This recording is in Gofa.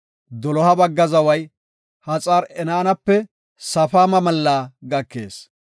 “Doloha bagga zaway Haxar-Enaanape Safaama mallaa gakees.